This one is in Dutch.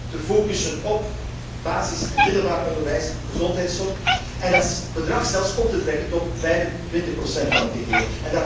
Primair te focussen op basis en middelbaar onderwijs, gezondheidszorg en dat bedrag zelfs op te trekken tot 25 van het geheel.